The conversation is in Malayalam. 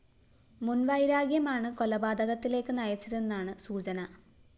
മുന്‍വൈരാഗ്യമാണ് കൊലപാതകത്തിലേക്ക് നയിച്ചതെന്നാണ് സുചന